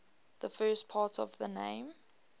the first part of the name